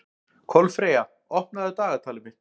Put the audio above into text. Kolfreyja, opnaðu dagatalið mitt.